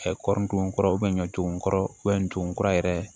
kɔri don kɔrɔ ɲɔton kɔrɔ ntokura yɛrɛ